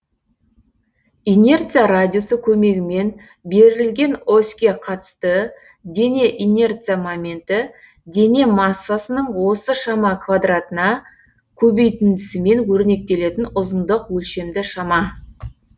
инерция радиусы көмегімен берілген оське қатысты дене инерция моменті дене массасының осы шама квадратына көбейтіндісімен өрнектелетін ұзындық өлшемді шама